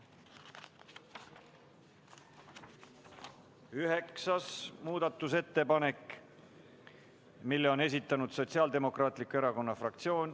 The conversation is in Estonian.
Üheksanda muudatusettepaneku on esitanud Sotsiaaldemokraatliku Erakonna fraktsioon.